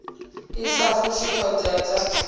i sa fushi thodea dza